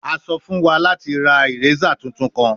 A sọ fun wa lati ra eraser tuntun kan